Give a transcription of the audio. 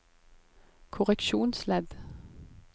korreksjonsledd